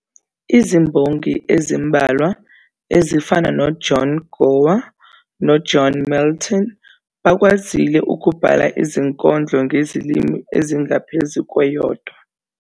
Izimbongi ezimbalwa ezifana noJohn Gower noJohn Milton bakwazile ukubhala izinkondlo ngezilimi ezingaphezu kweyodwa.